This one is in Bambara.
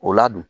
O ladon